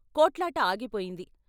కొట్లాట ఆగిపోయింది.